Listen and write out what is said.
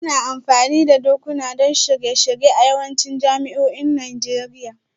Ana amfani da dakuna don shirye-shirye a yawancin jami'o'in Najeriya